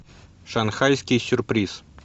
шанхайский сюрприз